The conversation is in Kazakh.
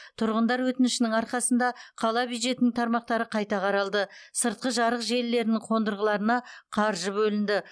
тұрғындар өтінішінің арқасында қала бюджетінің тармақтары қайта қаралды сыртқы жарық желілерінің қондырғыларына қаржы бөлінді